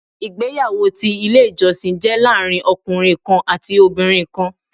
Ìgbéyàwó ti Ilé ìjọsìn jé láàrin ọkùnrin kan àti obìnrin kan